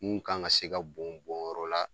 Mun kan ka se ka bɔn bɔnyɔrɔ la